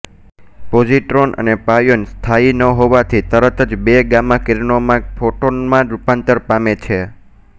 positron અને pion સ્થાયી ન હોવાથી તરત જ બે ગામા કિરણોમાં ફોટોનમાં રૂપાંતર પામે છે